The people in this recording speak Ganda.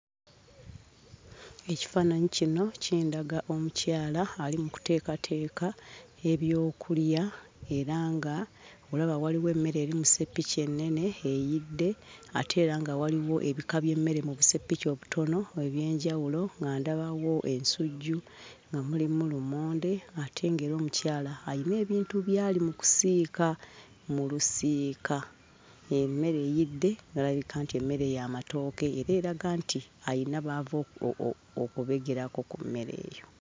Ekifaananyi kino kindaga omukyala ali mu kuteekateeka ebyokulya era ng'olaba waliwo emmere eri mu sseppiki ennene eyidde, ate era nga waliwo ebika by'emmere mu buseppiki obutono eby'enjawulo, nga ndabawo ensujju nga mulimu lumonde ate ng'era omukyala ayina ebintu by'ali mu kusiika mu lusiika. Emmere eyidde n'alabika nti emmere y'amatooke era eraga nti ayina b'ava okubegerako ku mmere eyo.